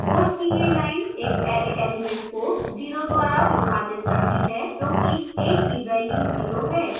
code की यह line एक array element को zero द्वारा विभाजित करती है क्योंकि a की value 0 है